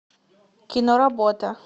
кино работа